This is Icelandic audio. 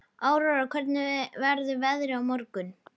Aurora, hvernig verður veðrið á morgun?